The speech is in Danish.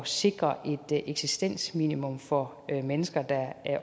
sikre et eksistensminimum for mennesker der